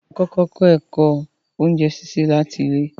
Á n kọkọ kọ ẹ̀kọ ọ̀unjẹ síṣẹ lati ilẹ̀